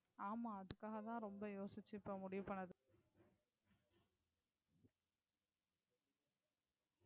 ஆமா அதுக்காக தான் ரொம்ப யோசிச்சு இப்போ முடிவு பண்ணினது.